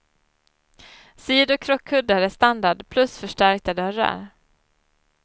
Sidokrockkuddar är standard plus förstärkta dörrar.